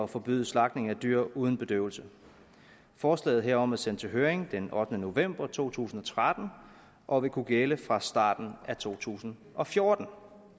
forbyde slagtning af dyr uden bedøvelse forslaget herom er blevet sendt til høring den ottende november to tusind og tretten og vil kunne gælde fra starten af to tusind og fjorten